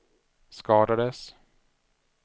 skadades